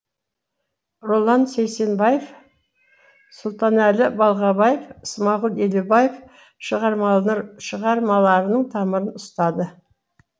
роллан сейсенбаев сұлтанәлі балғабаев смағұл елубаев шығармаларының тамырын ұстады